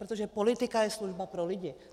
Protože politika je služba pro lidi.